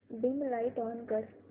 dim light on कर